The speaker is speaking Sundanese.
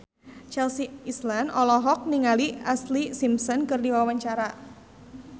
Chelsea Islan olohok ningali Ashlee Simpson keur diwawancara